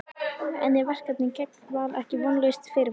En er verkefnið gegn Val ekki vonlaust fyrirfram?